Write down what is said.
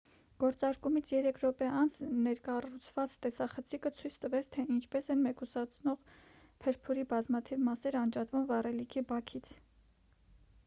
գործարկումից 3 րոպե անց ներկառուցված տեսախցիկը ցույց տվեց թե ինչպես են մեկուսացնող փրփուրի բազմաթիվ մասեր անջատվում վառելիքի բաքից